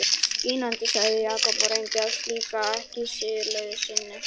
Skínandi sagði Jakob og reyndi að flíka ekki sigurgleði sinni.